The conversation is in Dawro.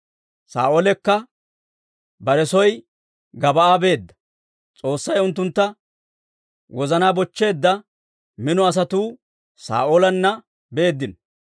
Saa'oolekka bare soo Gib'aa beedda; S'oossay unttunttu wozanaa bochcheedda mino asatuu Saa'oolanna beeddino.